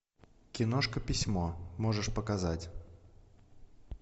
киношка письмо можешь показать